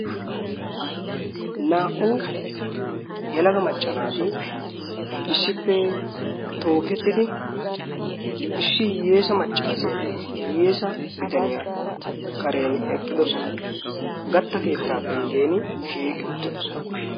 naa77u yalaga macca naati isshippe tookettidi ishshi hiyyeesa maccaaseenne hiyyeesa bitaniyaa karen eqqidosona. gatta keettaa penggen shiiqi uttidosona.